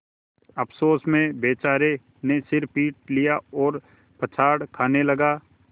अफसोस में बेचारे ने सिर पीट लिया और पछाड़ खाने लगा